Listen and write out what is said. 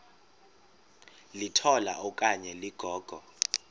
litola okanye ligogo